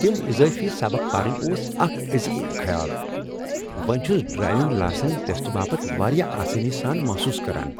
تم اضٲفی سبق پرٕنۍ اوس اکھ عظیم خیال! وۄنہِ چُھس ڈرایوِنگ لاسن ٹیسٹہٕ باپت وارِیاہ آسٲنی سان محصوص كران ۔